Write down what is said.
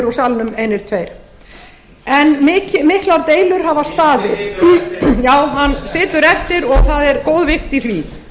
úr salnum einir tveir en miklar deilur hafa staðið situr eftir já hann situr eftir og það er góð vissa í því